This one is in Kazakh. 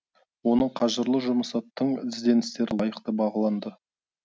оның қажырлы жұмысы тың ізденістері лайықты бағыланды